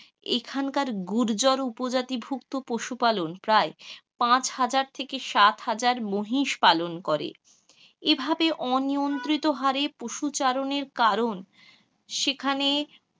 এখানকার গুর্জর উপজাতিভুক্ত পশুপালন প্রায় পাঁচ হাজার থেকে সাত হাজার মহিষ পালন করে এভাবেই অনিয়ন্ত্রিত হারে পশু চারণের কারণ,